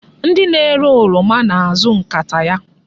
Ndị na-ere oroma na-azụ nkata ya.